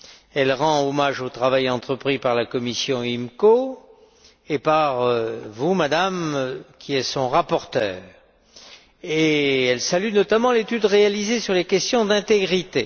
Elle rend hommage au travail entrepris par la commission IMCO et par vous, Madame, qui êtes sa rapporteure, et elle salue notamment l'étude réalisée sur les questions d'intégrité.